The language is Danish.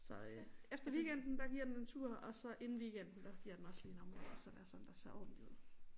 Så øh efter weekenden der giver den en tur og så inden weekenden der giver den også lige en omgang så der sådan der ser ordentligt ud